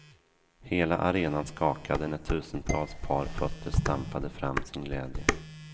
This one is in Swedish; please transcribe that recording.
Hela arenan skakade när tusentals par fötter stampade fram sin glädje.